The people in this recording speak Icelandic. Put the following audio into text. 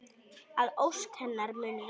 Að ósk hennar muni rætast.